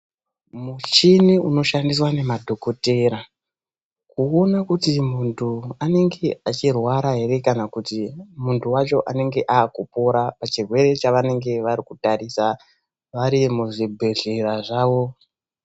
Muchini unoshandiswa ngemadhokotera kuona kuti munhu anenge achirwara ere kana kuti munhu wacho anenge akupora erepachirwere chavo chanenge vachitarisa vari muzvibhedhlera zvavo.